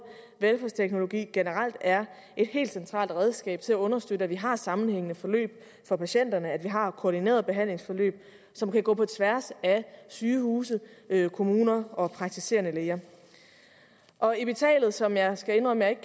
velfærdsteknologi generelt er et helt centralt redskab til at understøtte at vi har sammenhængende forløb for patienterne altså at vi har koordinerede behandlingsforløb som kan gå på tværs af sygehuse kommuner og praktiserende læger og epitalet som jeg skal indrømme ikke